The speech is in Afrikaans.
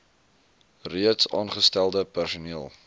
reeds aangestelde personeel